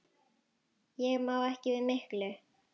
Ég má ekki við miklu.